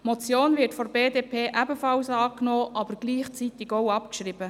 Die Motion wird von der BDP ebenfalls angenommen, aber gleichzeitig auch abgeschrieben.